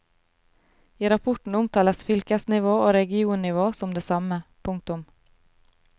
I rapporten omtales fylkesnivå og regionnivå som det samme. punktum